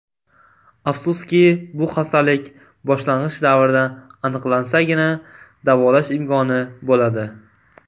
Afsuski, bu xastalik boshlang‘ich davrda aniqlansagina, davolash imkoni bo‘ladi.